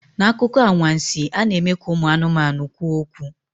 N'akụkọ anwansi, a na-eme ka ụmụ anụmanụ kwuo okwu.